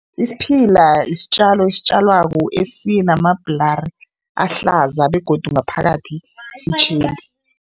Isiphila isitjalo esitjalwako esinamabhulari ahlaza begodu ngaphakathi sitjheli.